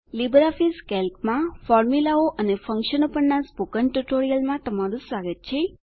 LibreOffice કેલ્કમાં ફોર્મુલાઓ અને ફંક્શનો પરનાં સ્પોકન ટ્યુટોરીયલમાં તમારું સ્વાગત છે